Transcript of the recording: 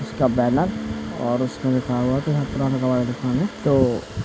उसका बैनर और उसमें लिखा हुआ है तो --